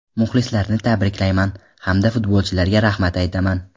Muxlislarni tabriklayman hamda futbolchilarga rahmat aytaman”.